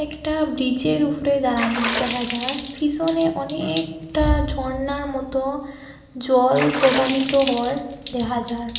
একটা ব্রিজের উফরে দারানি দেখা যায় ফিসনে অনেকটা ঝরনার মতো জল প্রবাহিত হওয়ার দেহা যায়।